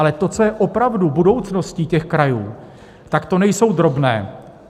Ale to, co je opravdu budoucností těch krajů, tak to nejsou drobné.